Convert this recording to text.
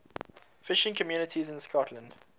fishing communities in scotland